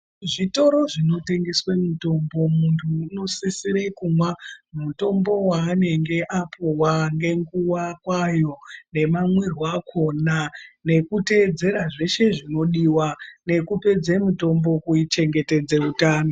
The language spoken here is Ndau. Zvitoro zvino tengeswe mitombo muntu uno sisire kumwa mutombo wa anenge apuwa nge nguva kwayo nema mwirwe akona neku tedzera zveshe zvino diwa neku pedze mutombo ku chengetedze utano.